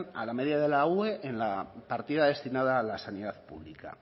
a la medida de la ue en la partida destinada a la sanidad pública